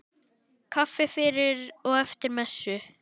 Kaffi fyrir og eftir messu.